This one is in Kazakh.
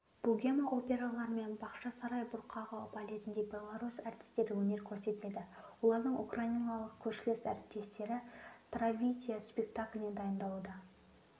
богема операларымен бақшасарай бұрқағы балетінде беларусь әртістері өнер көрсетеді олардың украиналық көршілес-әріптестері травиата спектакліне дайындалуда